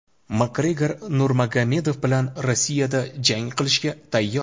Makgregor Nurmagomedov bilan Rossiyada jang qilishga tayyor.